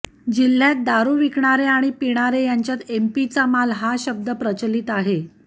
जिल्ह्यात दारू विकणारे आणि पिणारे यांच्यात एम पी चा माल हा शब्द प्रचलित आहे